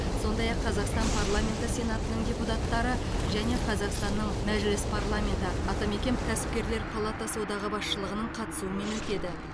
сондай ақ қазақстан парламенті сенатының депутаттары және қазақстанның мәжіліс парламеті атамекен кәспкерлер палатасы одағы басшылығының қатысуымен өтеді